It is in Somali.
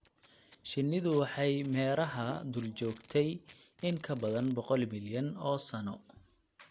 Shinnidu waxay meeraha dul joogtay in ka badan boqol milyan oo sano.